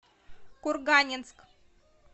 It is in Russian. курганинск